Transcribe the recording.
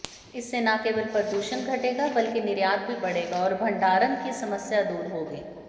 इससे न केवल प्रदूषण घटेगा बल्कि निर्यात भी बढ़ेगा और भंडारण की समस्या दूर होगी